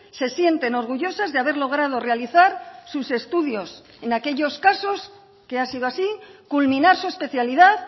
se sienten orgullosas de haber logrado realizar sus estudios en aquellos casos que ha sido así culminar su especialidad